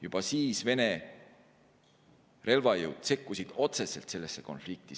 Juba siis Vene relvajõud sekkusid otseselt sellesse konflikti.